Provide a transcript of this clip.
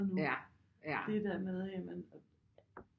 Nu det der med jamen